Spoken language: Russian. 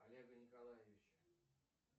олега николаевича